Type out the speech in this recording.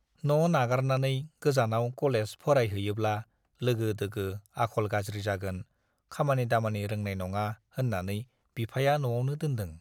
न' नागारनानै गोजानाव कलेज फरायहैयोब्ला लोगो-दोगो आखल गाज्रि जागोन, खामानि-दामानि रोंनाय नङा होन्नानै बिफाया न'आवनो दोनदों।